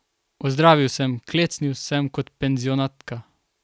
Odzdravil sem, klecnil sem kot penzionatka.